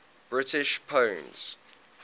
british poems